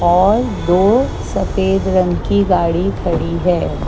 और दो सफेद रंग की गाड़ी खड़ी है।